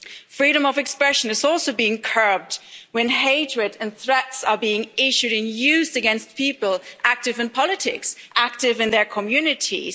Freedom of expression is also being curbed when hatred and threats are being issued and used against people active in politics, active in their communities.